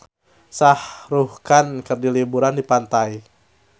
Shah Rukh Khan keur liburan di pantai